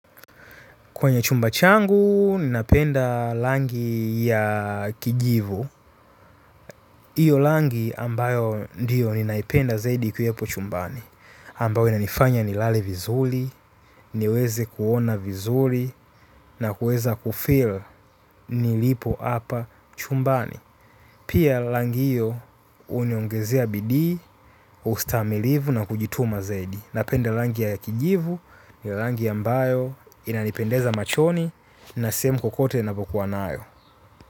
Kwenye chumba changu, ninapenda rangi ya kijivu. Iyo rangi ambayo ndiyo ninaipenda zaidi ikiwepo chumbani. Ambao inanifanya ni lale vizuri, niweze kuona vizuri, na kuweza kufeel nilipo hapa chumbani. Pia rangi hiyo uniongezea bidii, ustamilivu na kujituma zaidi. Napenda rangi ya kijivu, ni rangi ambayo, inanipendeza machoni, na sehemu kokote napo kuwa nayo.